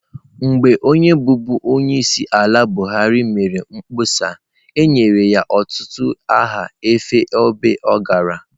Mgbe onye bụbu onyeisiala buhari mere mkpọsa e nyere ya ọtụtụ aha n'ofe ebe ọ gara